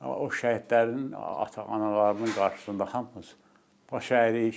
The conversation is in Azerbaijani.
O şəhidlərin ata-analarının qarşısında hamımız baş əyirik.